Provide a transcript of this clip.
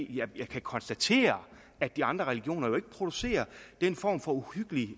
jeg kan konstatere at de andre religioner ikke producerer den form for uhyggelig